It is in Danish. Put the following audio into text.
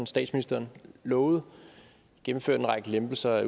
statsministeren lovede gennemført en række lempelser af